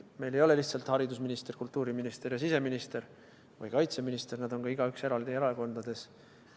Meil ei ole lihtsalt haridusminister, kultuuriminister, siseminister või kaitseminister, nad on ka igaüks eraldi erakonnas.